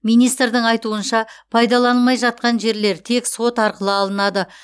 министрдің айтуынша пайдаланылмай жатқан жерлер тек сот арқылы алынады